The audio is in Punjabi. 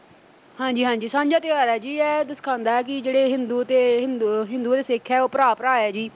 ਹਾਂਜੀ-ਹਾਂਜੀ ਸਾਂਝਾ ਤਿਉਹਾਰ ਐ ਜੀ ਇਹ ਐ ਸਿਖਾਉਂਦਾ ਕਿ ਜਿਹੜੇ ਹਿੰਦੂ ਅਹ ਹਿੰਦੂ ਅਤੇ ਸਿੱਖ ਐ ਭਰਾ-ਭਰਾ ਜੀ।